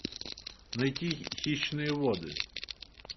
найти хищные воды